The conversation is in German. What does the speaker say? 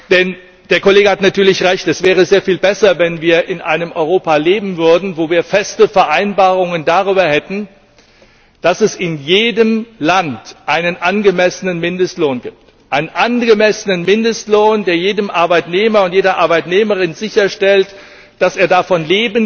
Denn der Kollege hat natürlich Recht Es wäre sehr viel besser, wenn wir in einem Europa leben würden, wo wir feste Vereinbarungen darüber hätten, dass es in jedem Land einen angemessenen Mindestlohn gibt, einen angemessenen Mindestlohn, der jedem Arbeitnehmer und jeder Arbeitnehmerin sicherstellt, dass er von